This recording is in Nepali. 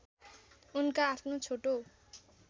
उनका आफ्नो छोटो